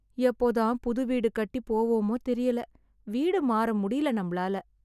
எப்போ தான் புது வீடு கட்டி போவோமா தெரியல வீடு மாற முடில நம்மளால